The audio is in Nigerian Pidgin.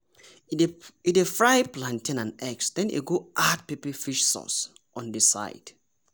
e dey fry plantain and eggs then e go add pepper fish sauce on di side.